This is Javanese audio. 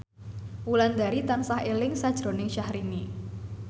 Wulandari tansah eling sakjroning Syahrini